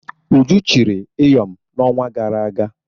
Uju chiri Ịyọm n'ọnwa gara aga.